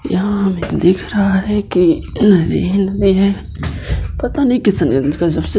यहाँ हमें दिख रहा है की नदी ही नदी है। पता नहीं किसने